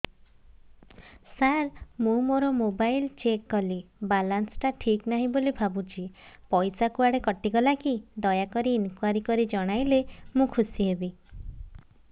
ସାର ମୁଁ ମୋର mobile check କଲି ବାଲାନ୍ସ ଟା ଠିକ ନାହିଁ ବୋଲି ଭାବୁଛି ପଇସା କୁଆଡେ କଟି ଗଲା କି ଦୟାକରି ଇନକ୍ୱାରି କରି ଜଣାଇଲେ ମୁଁ ଖୁସି ହେବି